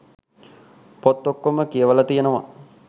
පොත් ඔක්කොම කියවලා තියනවා.